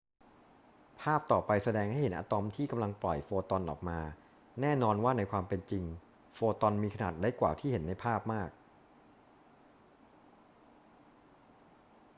ภาพต่อไปแสดงให้เห็นอะตอมที่กำลังปล่อยโฟตอนออกมา แน่นอนว่าในความเป็นจริงโฟตอนมีขนาดเล็กกว่าที่เห็นในภาพมาก